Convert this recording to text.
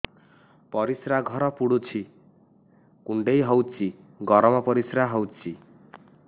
ପରିସ୍ରା ଘର ପୁଡୁଚି କୁଣ୍ଡେଇ ହଉଚି ଗରମ ପରିସ୍ରା ହଉଚି